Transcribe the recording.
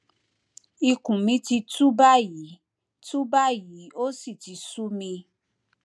ikùn mi ti tú báyìí tú báyìí ó sì ti sú mi